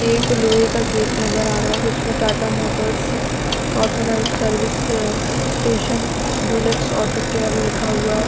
एक लोहै का गेट नजर आ रहा है जिसमे Tata motor authorise service station Dulux auto care लिखा हुआ है।